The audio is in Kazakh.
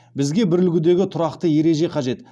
бізге бір үлгідегі тұрақты ереже қажет